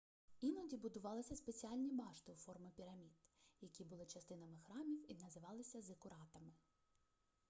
іноді будувалися спеціальні башти у формі пірамід які були частинами храмів і називалися зикуратами